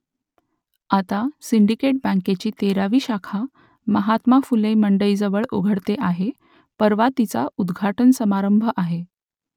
आता सिंडिकेट बँकेची तेरावी शाखा महात्मा फुले मंडईजवळ उघडते आहे परवा तिचा उद्घाटन समारंभ आहे